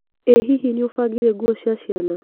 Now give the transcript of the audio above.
i hihi nĩũbangire nguo cia ciana?